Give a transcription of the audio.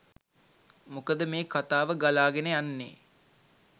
මොකද මේ කතාව ගලාගෙන යන්නේ